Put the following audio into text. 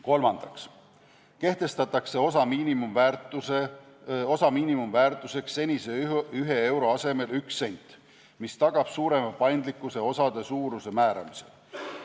Kolmandaks kehtestatakse osa miinimumväärtuseks senise 1 euro asemel 1 sent, mis tagab suurema paindlikkuse osade suuruse määramisel.